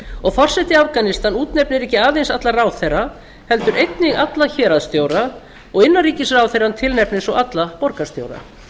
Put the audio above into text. og forseti afganistans útnefnir ekki aðeins alla ráðherra heldur einnig alla héraðsstjóra og innanríkisráðherrann tilnefnir svo alla borgarstjóra